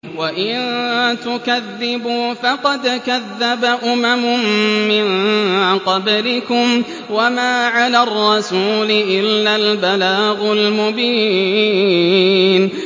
وَإِن تُكَذِّبُوا فَقَدْ كَذَّبَ أُمَمٌ مِّن قَبْلِكُمْ ۖ وَمَا عَلَى الرَّسُولِ إِلَّا الْبَلَاغُ الْمُبِينُ